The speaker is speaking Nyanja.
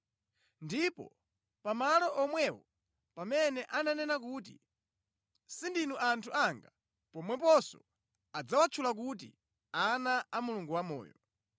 ndipo, “Pamalo omwewo pamene ananena kuti, ‘Sindinu anthu anga,’ pomweponso adzawatchula kuti, ‘Ana a Mulungu wamoyo.’ ”